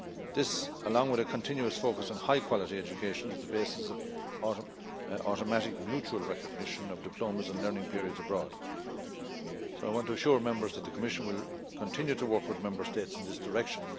This, along with the continuous focus on high quality education, is the basis of automatic mutual recognition of diplomas and learning periods abroad, so I want to assure Members that the Commission will continue to work with Member States in this direction.